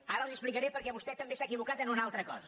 ara els ho explicaré perquè vostè també s’ha equivocat en una altra cosa